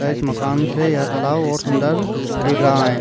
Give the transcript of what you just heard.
ता इस मकान से यहाँ तालाव और सुन्दर दिख रहा है।